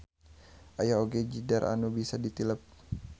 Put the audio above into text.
Aya oge jidar anu bisa ditilep.